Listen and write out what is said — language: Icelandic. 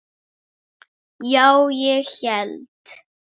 Já, ég hélt.